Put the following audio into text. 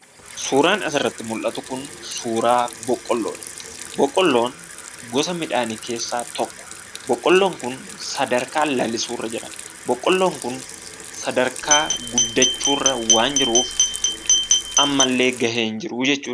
Suuraan asirratti mul'atu kun suuraa boqqooloodha. Boqqoolloon gosa midhaanii keessaa tokko. boqqoolloon kun sadarkaa lalisuurra jira. Boqqoolloon kun sadarkaa guddachuurra waan jiruuf ammallee gahee hin jiruu jechuudha.